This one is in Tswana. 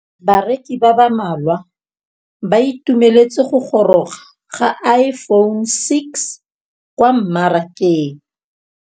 Bareki ba ba malwa ba ituemeletse go gôrôga ga Iphone6 kwa mmarakeng.